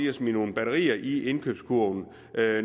at smide nogle batterier i indkøbskurven